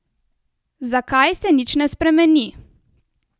Zakaj se nič ne spremeni?